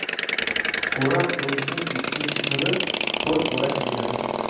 O‘rab qo‘yishning ikkinchi turi ho‘l o‘rash deyiladi.